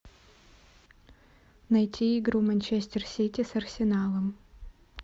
найти игру манчестер сити с арсеналом